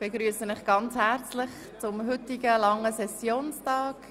Ich begrüsse Sie ganz herzlich zum heutigen, langen Sessionstag.